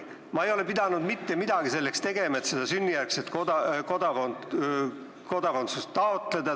Ma ei ole pidanud selleks mitte midagi tegema, et sünnijärgset kodakondsust taotleda.